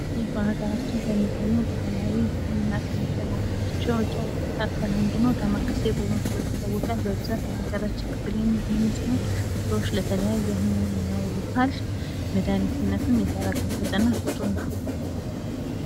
ይህ በሀገራችን ለባህላዊ ህክምና የሚውል እፅዋት ሲሆን ዳማካሴ በመባል ይታወቃል ።በሀገራችን የሚገኝ ሲሆን ለተለያየ በሽታ መድሀኒትነት ይጠቀሙበታል ።መድሀኒትነቱም ፍቱን ነው ።